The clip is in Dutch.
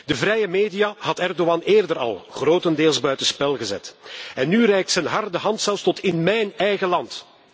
De vrije media had Erdogan eerder al grotendeels buitenspel gezet en nu reikt zijn harde hand zelfs tot in mijn eigen land.